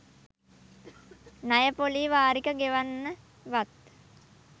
ණය ‍පොලී වාරික ගෙවන්නවත්.